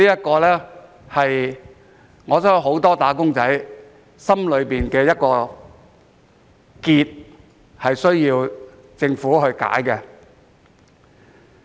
我相信這是很多"打工仔"心底的一個結，需要政府來解開。